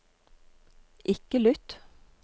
ikke lytt